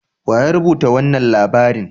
Wa ya rubuta wanan labarin?